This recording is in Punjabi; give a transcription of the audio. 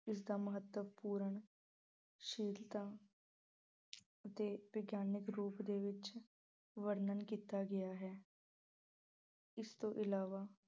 ਇਸ ਦਾ ਮਹਤੱਵਪੂਰਨ ਸ਼ੀਲਤਾ ਅਤੇ ਵਿਗਿਆਨਕ ਰੂਪ ਵਿੱਚ ਵਰਣਨ ਕੀਤਾ ਗਿਆ ਹੈ। ਇਸ ਤੋਂ ਇਲਾਵਾ